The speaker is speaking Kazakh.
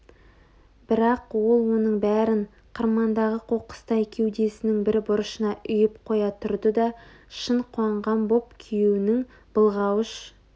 бірақ ол оның бәрін қырмандағы қоқыстай кеудесінің бір бұрышына үйіп қоя тұрды да шын қуанған боп күйеуінің былғауыш